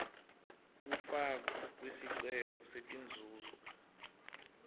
kufakwa kwesicelo setinzuzo